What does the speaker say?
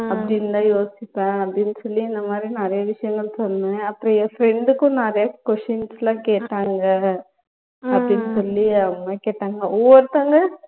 அப்படி இருந்த யோசிப்பேன் அப்படின்னு சொல்லி இந்த மாதிரி நிறைய விஷயங்கள் சொன்னேன் அப்பறம் என் friend கும் நிறைய questions லாம் கேட்டாங்க அப்படின்னு சொல்லி அவங்களே கேட்டாங்க ஒவ்வொருத்தவங்க